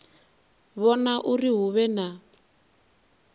vhona uri hu vhe na